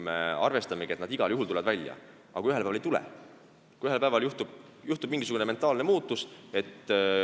Me arvestame, et nad igal juhul tulevad välja, aga ühel päeval võib toimuda mingisugune mentaalne muutus.